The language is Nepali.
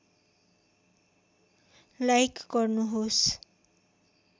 लाईक गर्नुहोस्